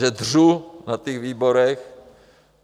Že dřu na těch výborech.